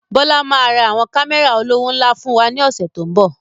Bọlá máa ra àwọn Kámẹ́rà olówó ńlá fún wa ní ọ̀sẹ̀ to ń bọ̀